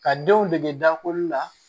Ka denw dege dakolo la